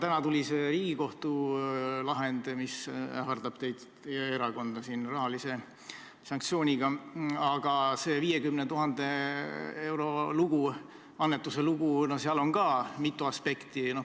Täna tuli see Riigikohtu lahend, mis ähvardab teid, teie erakonda rahalise sanktsiooniga, aga selles 50 000 euro annetamise loos on mitu aspekti.